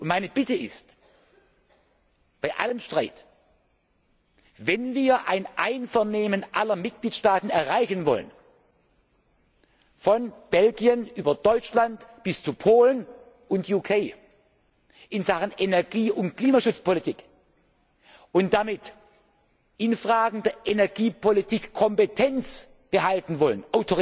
Meine Bitte ist Bei allem Streit, wenn wir ein Einvernehmen aller Mitgliedstaaten erreichen wollen, von Belgien über Deutschland bis zu Polen und VK, in Sachen Energie und Klimaschutzpolitik und damit in Fragen der Energiepolitik Kompetenz und Autorität behalten wollen,